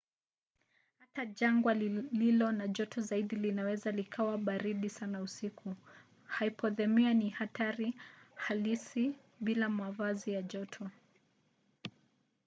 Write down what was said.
hata jangwa lililo na joto zaidi linaweza likawa baridi sana usiku. hipothemia ni hatari halisi bila mavazi ya joto